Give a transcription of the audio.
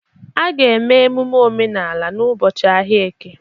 A ga-eme emume omenala n'ụbọchị ahịa eke.